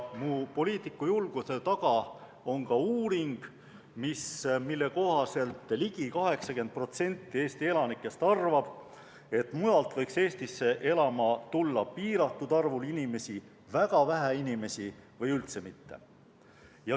Mu poliitikujulguse taga on ka uuring, mille kohaselt ligi 80% Eesti elanikest arvab, et mujalt võiks Eestisse elama tulla piiratud arvul inimesi, väga vähe inimesi või üldse mitte.